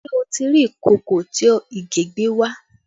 Ṣé o ti rí ìkòkò tí Ìgè gbé wá?